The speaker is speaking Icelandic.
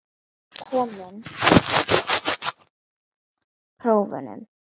Komin aftur til að ljúka prófunum.